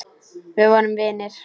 Við vorum vinir.